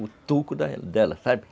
O toco dela, sabe?